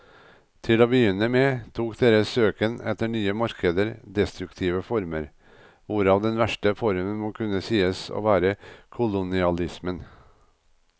Til å begynne med tok deres søken etter nye markeder destruktive former, hvorav den verste formen må kunne sies å være kolonialismen.